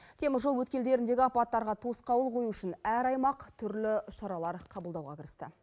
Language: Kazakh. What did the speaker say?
теміржол өткелдеріндегі апаттарға тосқауыл қою үшін әр аймақ түрлі шаралар қабылдауға кірісті